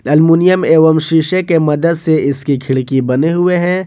Aluminium एवं शीशे के मदद से इसकी खिड़की बने हुए है।